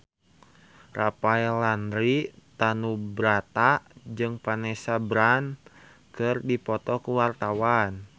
Rafael Landry Tanubrata jeung Vanessa Branch keur dipoto ku wartawan